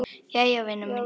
Jæja vina mín.